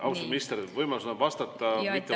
Austatud minister, võimalus on vastata või mitte vastata.